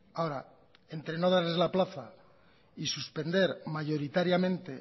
ahora entre no darles la plaza y suspender mayoritariamente